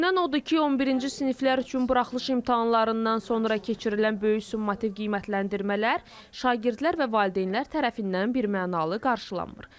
Görünən odur ki, 11-ci siniflər üçün buraxılış imtahanlarından sonra keçirilən böyük summativ qiymətləndirmələr şagirdlər və valideynlər tərəfindən birmənalı qarşılanmır.